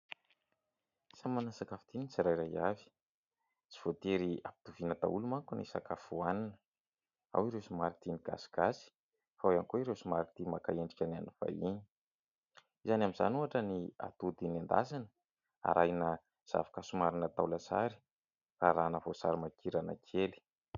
Samy manana ny sakafo tiny tsirairay avy. Tsy voatery hampitoviana daholo manko ny sakafo hoanina. Ao ireo somary tia ny gasigasy, fa ao ihany koa ireo somary tia maka endrika. Ny amin'izany ohatra ny atody nendasina arahina zavoka somary atao lasary arahana voasarimakirana kely.